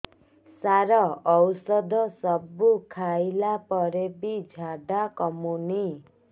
ସାର ଔଷଧ ସବୁ ଖାଇଲା ପରେ ବି ଝାଡା କମୁନି